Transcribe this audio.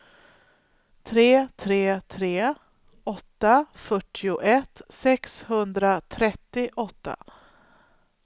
tre tre tre åtta fyrtioett sexhundratrettioåtta